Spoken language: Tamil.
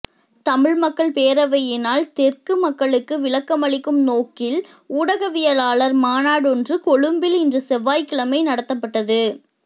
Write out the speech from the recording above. தமிழ் மக்கள் பேரவையினால் தெற்கு மக்களுக்கு விளக்கமளிக்கும் நோக்கில் ஊடகவியலாளர் மாநாடொன்று கொழும்பில் இன்று செவ்வாய்க்கிழமை நடத்தப்பட்டது